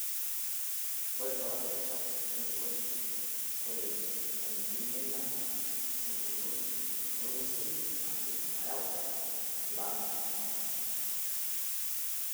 Ore too risha enkiroshi, ore enkiminata engolon olng'usil naa keidim ayau enchalan oondamunot.